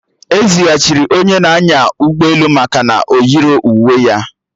Ezighachiri onye na-anya ụgbọelu maka na o yirọ uwe ya